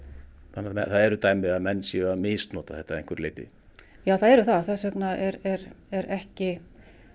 þannig að það eru dæmi um að menn séu að misnota þetta það eru það og þess vegna er er ekki